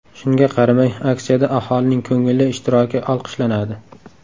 Shunga qaramay, aksiyada aholining ko‘ngilli ishtiroki olqishlanadi.